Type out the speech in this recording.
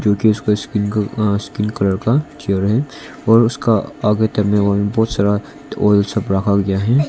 जो कि इसका स्किन का स्किन कलर का चेयर है। और उसका आगे तक मे बहुत सारा टॉवेल सब रखा गया है।